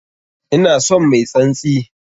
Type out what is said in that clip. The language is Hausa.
Ina son mai tsantsi!